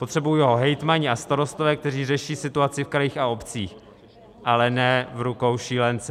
Potřebují ho hejtmani a starostové, kteří řeší situaci v krajích a obcích, ale ne v rukou šílence.